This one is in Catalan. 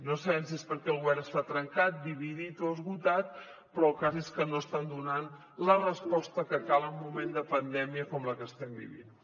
no sabem si és perquè el govern està trencat dividit o esgotat però el cas és que no estan donant la resposta que cal en moment de pandèmia com la que estem vivint